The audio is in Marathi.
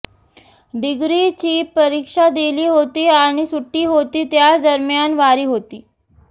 डिग्रीची परिक्षा दिली होती आणि सुट्टी होती त्याच दरम्यान वारी होती